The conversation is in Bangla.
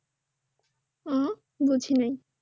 হুম্ বুঝি নাই